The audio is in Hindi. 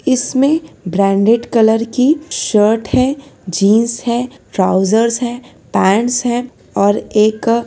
इसमें ब्रांडेड कलर की शर्ट है जींस है ट्राउजर्स है पेंट्स है और एक--